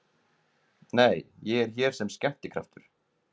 Nei, ég er hér sem skemmtikraftur